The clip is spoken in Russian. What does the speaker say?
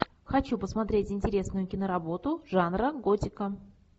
хочу посмотреть интересную киноработу жанра готика